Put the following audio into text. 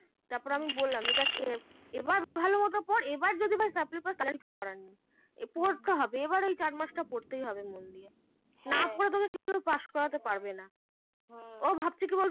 তারপর আমি বললাম যে দেখ এবার ভালো মতো পড় এবার যদি সাপ্লি পাস তাহলে আমার কিছু করার নেই পড়তে হবে এবার এই চার মাস টা পড়তে হবে না পড়লে পাস করাতে পারবে না ও ভাবছে কি বলতো